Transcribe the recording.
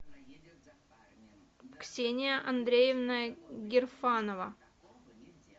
ксения андреевна герфанова